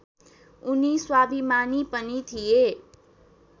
उनी स्वाभिमानी पनि थिए